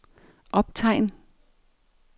optegn